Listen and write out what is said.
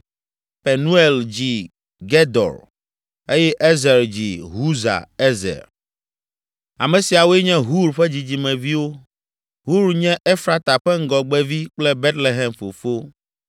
Penuel dzi Gedor eye Ezer dzi Husa Ezer. Ame siawoe nye Hur ƒe dzidzimeviwo, Hur nye Efrata ƒe ŋgɔgbevi kple Betlehem fofo.